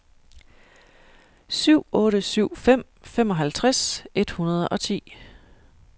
syv otte syv fem femoghalvtreds et hundrede og ti